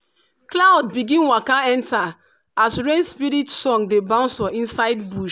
cloud begin waka enter as rain spirit song dey bounce for inside bush.